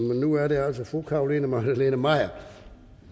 men nu er det altså fru carolina magdalene maier